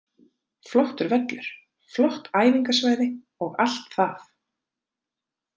Flottur völlur, flott æfingasvæði og allt það.